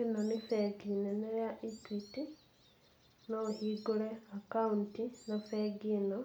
Ĩno nĩ bengi nene ya Equity, no ũhingũre akaunti na bengi ĩno,